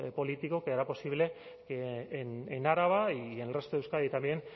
político que hará posible que en araba y en el resto de euskadi también